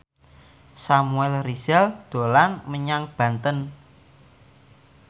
Samuel Rizal dolan menyang Banten